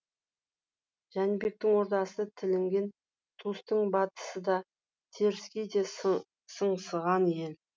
жәнібектің ордасы тілінген тұстың батысы да теріскейі де сыңсыған ел